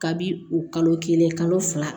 Kabi o kalo kelen kalo fila